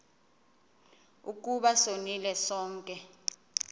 ukuba sonile sonke